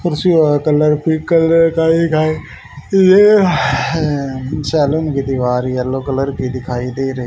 कुर्सी काकलर सैलून की दीवार येलो कलर की दिखाई दे रही --